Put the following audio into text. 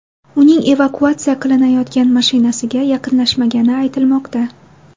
Uning evakuatsiya qilinayotgan mashinasiga yaqinlashmagani aytilmoqda.